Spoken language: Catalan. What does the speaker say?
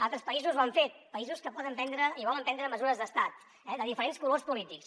altres països ho han fet països que poden prendre i volen prendre mesures d’estat de diferents colors polítics